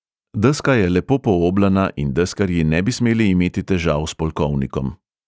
Deska je lepo pooblana in deskarji ne bi smeli imeti težav s polkovnikom.